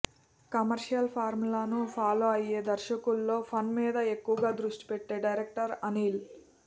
commercial ఫార్ములాను follow అయ్యే దర్శకుల్లో ఫన్ మీద ఎక్కువగా దృష్టిపెట్టే డైరెక్టర్ అనిల్